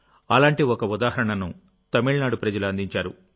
అలాంటి ఒక ఉదాహరణను తమిళనాడు ప్రజలు అందించారు